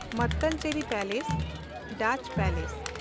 Mattancherry palace (Dutch palace)